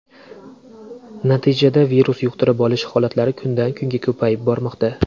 Natijada virus yuqtirib olish holatlari kundan kunga ko‘payib bormoqda.